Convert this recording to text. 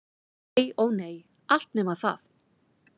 Nei- ó nei, allt nema það.